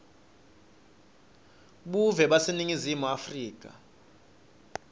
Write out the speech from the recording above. buve baseningizimu afrika